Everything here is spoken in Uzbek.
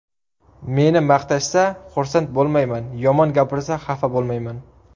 Meni maqtashsa, xursand bo‘lmayman, yomon gapirsa xafa bo‘lmayman.